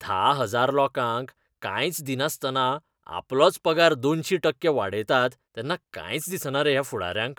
धा हजार लोकांक कांयच दिनासतना आपलोच पगार दोनशी टक्के वाडयतात तेन्ना कांयच दिसना रे ह्या फुडाऱ्यांक?